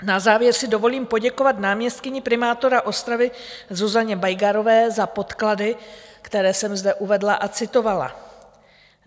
Na závěr si dovolím poděkovat náměstkyni primátora Ostravy Zuzaně Bajgarové za podklady, které jsem zde uvedla a citovala.